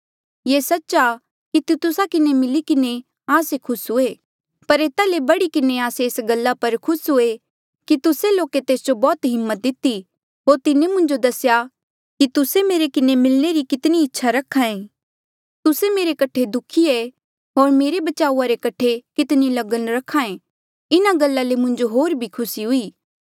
ये सच्च आ कि तितुसा किन्हें मिली किन्हें आस्से खुस हुए पर एता ले बढ़ी किन्हें आस्से एस गल्ला पर खुस हुए कि तुस्से लोके तेस जो बौह्त हिम्मत दिती होर तिन्हें मुंजो दसेया कि तुस्से मेरे किन्हें मिलणे री कितनी इच्छा रख्हा ऐ तुस्से मेरे कठे दुखी ऐें होर मेरे बचाऊआ रे कठे कितनी लगन रखायें इन्हा गल्ला ले मुंजो होर भी खुसी हुई